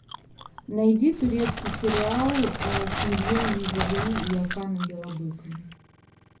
найди турецкий сериал с мерьем узерли и оканом ялабыком